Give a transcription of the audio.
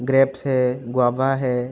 Grapes है guava है।